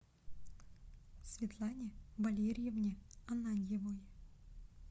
светлане валерьевне ананьевой